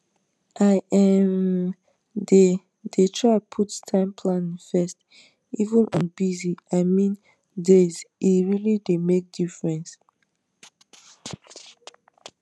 i um dey dey try put time planning first even on busyi meandayse really dey make difference